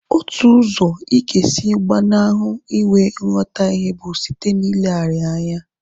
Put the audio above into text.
Otu usọ ịga esi gbanahụ inwe nghotahie bụ site na ileghara ya anya